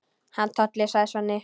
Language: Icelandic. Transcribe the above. Hann Tolli, sagði Svenni.